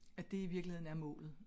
At det i virkeligheden er målet